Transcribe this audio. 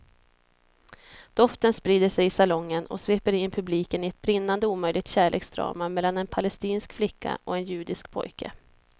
Doften sprider sig i salongen och sveper in publiken i ett brinnande omöjligt kärleksdrama mellan en palestinsk flicka och en judisk pojke.